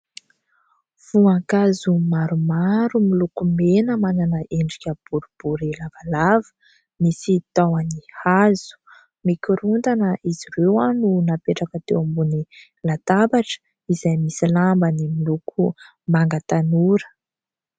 Voankazo maromaro miloko mena, manana endrika boribory lavalava, misy tahony hazo. Mikorontana izy ireo no napetraka teo ambony latabatra izay misy lambany miloko manga tanora.